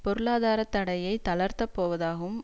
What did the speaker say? பொருளாதார தடையை தளர்த்தப் போவதாகவும்